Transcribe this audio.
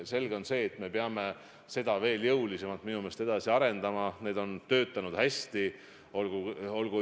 Selge on see, et me peame neid veel jõulisemalt edasi arendama, need on töötanud hästi.